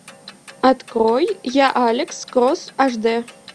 открой я алекс кросс аш д